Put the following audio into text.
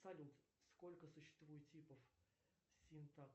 салют сколько существует типов